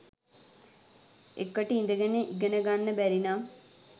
එකට ඉඳගෙන ඉගෙන ගන්න බැරිනම්